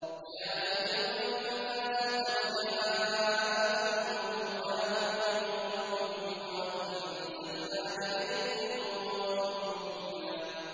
يَا أَيُّهَا النَّاسُ قَدْ جَاءَكُم بُرْهَانٌ مِّن رَّبِّكُمْ وَأَنزَلْنَا إِلَيْكُمْ نُورًا مُّبِينًا